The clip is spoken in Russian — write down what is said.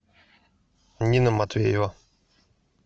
нина матвеева